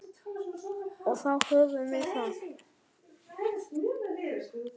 Og þá höfum við það.